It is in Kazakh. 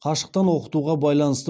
қашықтан оқытуға байланысты